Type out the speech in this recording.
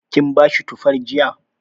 Kin bashi tufar jiya?